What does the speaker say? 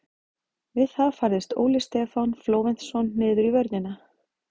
Við það færðist Óli Stefán Flóventsson niður í vörnina.